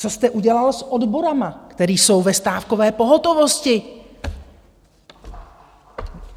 Co jste udělal s odbory, které jsou ve stávkové pohotovosti?